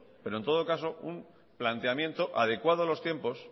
pero en todo caso un planteamiento adecuado a los tiempos